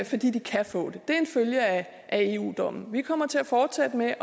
fordi de kan få det det er en følge af eu dommen v vi kommer til at fortsætte med at